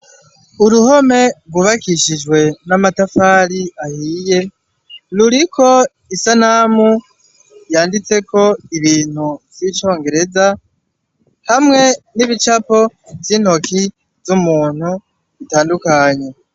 Uruhome rwubakishijwe n'amatafari ahiye ruriko isanamu yanditse ko ibintu zicongereza hamwe n'ibicapo z'intoki z'umuntu bitandukanye.